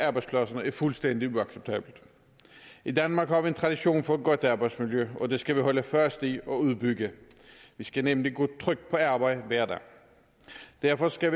arbejdspladsen er fuldstændig uacceptabelt i danmark har vi en tradition for et godt arbejdsmiljø og det skal vi holde fast i og udbygge vi skal nemlig kunne trygt på arbejde hver dag derfor skal